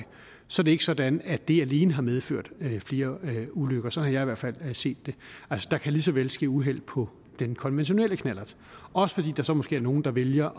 så er det ikke sådan at det alene har medført flere ulykker sådan har jeg i hvert fald set det altså der kan lige så vel ske uheld på den konventionelle knallert også fordi der så måske er nogle der vælger